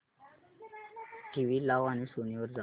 TV लाव आणि Sony वर जा